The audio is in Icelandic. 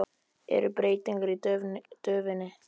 Eru breytingar á döfinni?